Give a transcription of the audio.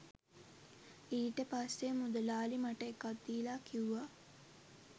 ඊට පස්සේ මුදලාලි මට එකක් දීලා කිව්වා